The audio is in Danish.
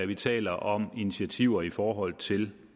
vi taler om initiativer i forhold til